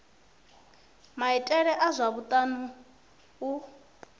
maitele a zwa u ea